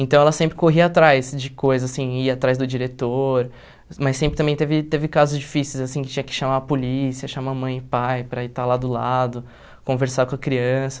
Então, ela sempre corria atrás de coisas, assim, ia atrás do diretor, mas sempre também teve teve casos difíceis, assim, que tinha que chamar a polícia, chamar a mãe e pai para ir estar lá do lado, conversar com a criança.